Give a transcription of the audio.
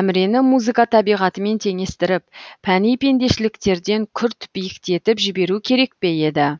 әмірені музыка табиғатымен теңестіріп пәни пендешіліктерден күрт биіктетіп жіберу керек пе еді